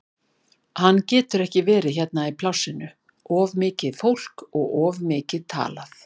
Hann getur ekki verið hérna í plássinu, of margt fólk og of mikið talað.